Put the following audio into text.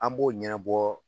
An b'o ɲɛnabɔ